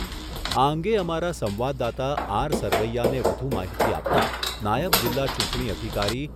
આ અંગે અમારા સંવાદદાતા આર સરવૈયાને વધુ માહિતી આપતા નાયબ જીલ્લા ચૂંટણી અધિકારી